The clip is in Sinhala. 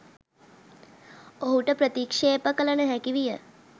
ඔහුට ප්‍රතික්ශේප කල නොහැකි විය.